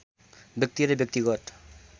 व्यक्ति र व्यक्तिगत